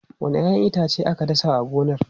Wanne 'ya'yan itace aka dasa a gonar?